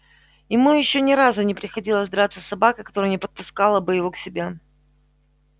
ему ещё ни разу не приходилось драться с собакой которая не подпускала бы его к себе